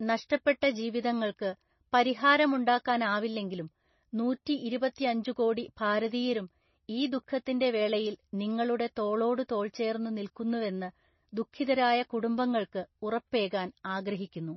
നഷ്ടപ്പെട്ട ജീവിതങ്ങള്‍ക്ക് പരിഹാരമുണ്ടാക്കാനാവില്ലെങ്കിലും നൂറ്റി ഇരുപത്തിയഞ്ചുകോടി ഭാരതീയരും ഈ ദുഃഖത്തിന്റെ വേളയില്‍ നിങ്ങളുടെ തോളോടു തോള്‍ ചേര്‍ന്നു നില്‍ക്കുന്നുവെന്ന് ദുഃഖിതരായ കുടുംബങ്ങള്‍ക്ക് ഉറപ്പേകാന്‍ ആഗ്രഹിക്കുന്നു.